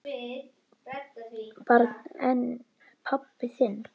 Barn: En pabbi þinn?